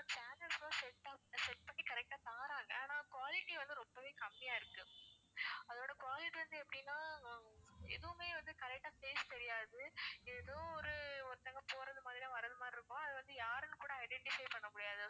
channels அ set ஆஹ் set பண்ணி correct ஆ தர்றாங்க ஆனா quality வந்து ரொம்பவே கம்மியா இருக்கு அதோட quality வந்து எப்படின்னா ஆஹ் எதுவுமே வந்து correct ஆ face தெரியாது ஏதோ ஒரு ஒருத்தங்க போறது மாதிரியும் வர்றது மாதிரியும் இருக்கும் அது வந்து யாருன்னு கூட identify பண்ண முடியாது